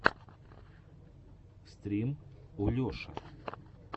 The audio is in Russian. стрим олеша